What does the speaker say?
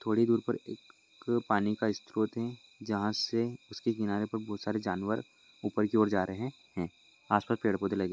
थोड़ी दूर पर पानी का एक स्त्रोत है जहा से इसके किनारे पर बहुत सारे जानवर ऊपर की और जा रहे है आस पास मे पेड़ पौध लगे--